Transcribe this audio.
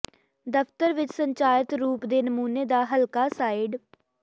ਦਫਤਰ ਵਿਚ ਸੰਚਾਰਿਤ ਰੂਪ ਦੇ ਨਮੂਨੇ ਦਾ ਹਲਕਾ ਸਾਈਡ